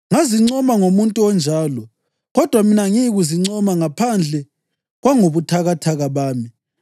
Ngazincoma ngomuntu onjalo, kodwa mina angiyikuzincoma, ngaphandle kwangobuthakathaka bami.